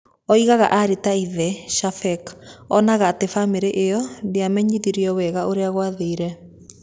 Oigaga arĩ ta ithe, Shafeek, onaga atĩ famĩlĩ ĩyo ndĩamenyithirio wega ũrĩa gwathire.